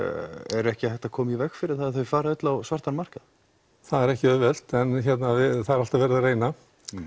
er ekki hægt að koma í veg fyrir það að þau fari öll á svartan markað það er ekki auðvelt en það er alltaf verið að reyna